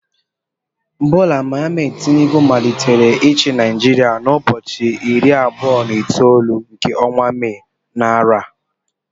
Bola Ahmed Tinubu malitere ichi Naijiria na ụbọchị irí abụọ na itolu nke ọnwa May, na arọ a.